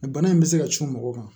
Bana in bɛ se ka cun mɔgɔ kan